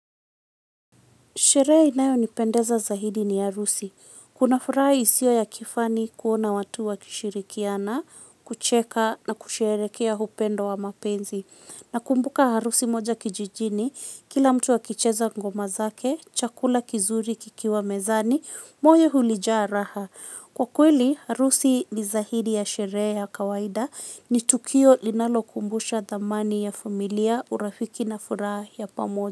Sherehe inayonipendeza zaidi ni harusi. Kuna furaha isiyo ya kifani kuona watu wakishirikiana kucheka na kusherehekea upendo wa mapenzi. Nakumbuka harusi moja kijijini, kila mtu akicheza ngoma zake, chakula kizuri kikiwa mezani, moyo ulijaa raha. Kwa kweli, harusi ni zaidi ya sherehe ya kawaida ni tukio linalokumbusha thamani ya familia urafiki na furaha ya pamoja.